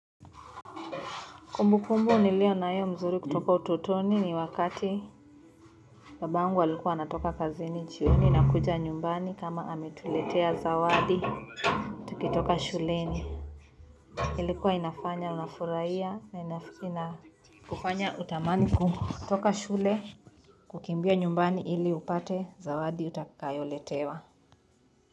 Kumbukumbu nilio nayo mzuri kutoka ututoni ni wakati babangu alikuwa anatoka kazini jioni na kuja nyumbani kama ametuletea zawadi tukitoka shuleni ilikuwa inafanya unafurahia na inafanya kufanya utamani kutoka shule kukimbia nyumbani ili upate zawadi utakayo letewa.